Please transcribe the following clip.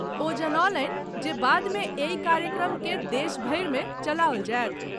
ओ जनौलनि जे बाद मे एहि कार्यक्रम के देश भरि मे चलाओल जाएत।